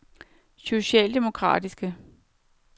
socialdemokratiske